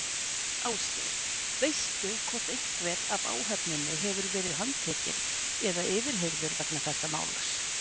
Ásgeir: Veistu hvort einhver af áhöfninni hefur verið handtekinn eða yfirheyrður vegna þessa máls?